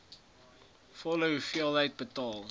volle hoeveelheid betaal